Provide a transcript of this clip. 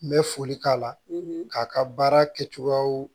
N bɛ foli k'a la k'a ka baara kɛcogoyaw